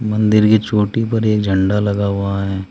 मंदिर की चोटी पर एक झंडा लगा हुआ है।